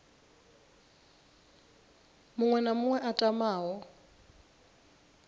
muṅwe na muṅwe a tamaho